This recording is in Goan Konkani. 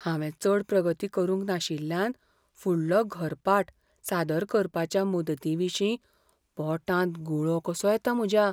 हांवें चड प्रगती करूंक नाशिल्ल्यान फुडलो घरपाठ सादर करपाच्या मुदतीविशीं पोटांत गुळो कसो येता म्हज्या.